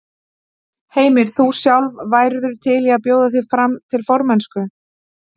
Heimir: Þú sjálf, værirðu til í að bjóða þig fram til formennsku?